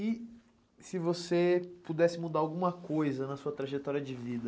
E se você pudesse mudar alguma coisa na sua trajetória de vida?